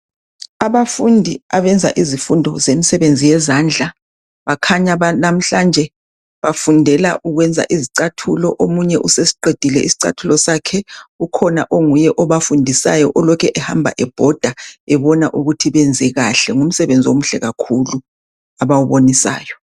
Abafundi abenza izifundo zomsebenzi wezandla bakhanya namhlanje bafundela ukwenza izicathulo omunye usesiqedile isicathulo sakhe ukhona onguyebobafundisayo olokhu ehamba ebhoda ebona ukuthi benzekahle ngumsebenzi omuhle kakhulu abawubonisayo